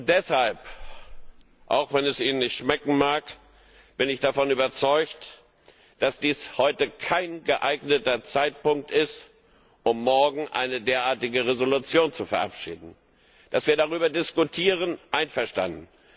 Deshalb auch wenn es Ihnen nicht schmecken mag bin ich davon überzeugt, dass dies heute kein geeigneter Zeitpunkt ist, um morgen eine derartige Entschließung zu verabschieden. Dass wir darüber diskutieren einverstanden.